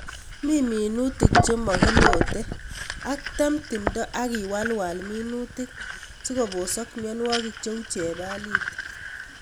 "Min minutik chemokilote ak tem timindo ak iwalwal minutik sikobosok ionwokik cheu chelalit.